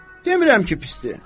Demirəm ki pisdir.